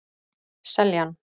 Seljan